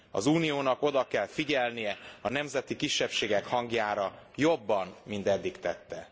Az Uniónak oda kell figyelnie a nemzeti kisebbségek hangjára, jobban, mint eddig tette.